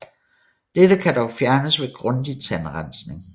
Dette kan dog fjernes ved grundig tandrensning